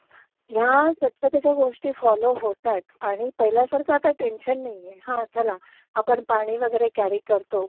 ह्या स्वच्छतेच्या गोष्टी फॉलो होतायत आणि पाहिल्यासारख आता टेंशन नाहीये. हा चला, पानी वेगेरे कॅरि करतो पण